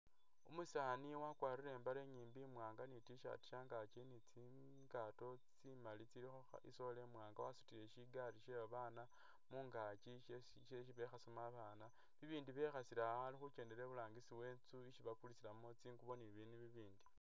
Umusaani wakwarire imbale inyimbi imwaanga ni tshirt shangaki ni tsiingaato tsimali tsilikho i'sole imwaanga, wasutile shigali she abaana mungakyi shesi shesi bekhasamo abaana ibindi bekhasilewo ali khu kyendela iburangisi isi bakulisila tsingubo ni bibindu ibindi.